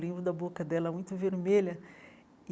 Lembro da boca dela muito vermelha.